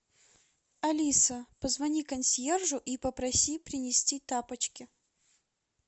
алиса позвони консьержу и попроси принести тапочки